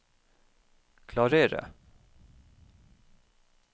klarere